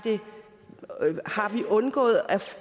undgået at